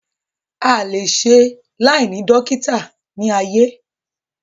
A à le e se láìní dókítà ní ayé